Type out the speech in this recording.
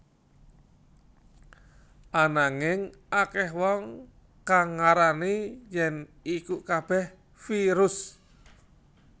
Ananging akèh wong kang ngarani yèn iku kabèh virus